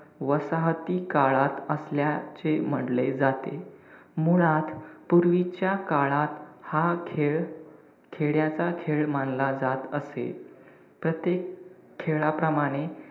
वसाहती काळात असल्याचे म्हंटले जाते. मुळात, पूर्वीच्या काळात हा खेळ खेड्याचा खेळ मानला जात असे. प्रत्येक खेळाप्रमाणे,